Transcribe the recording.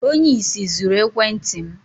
Onye ìsì zuru ekwentị m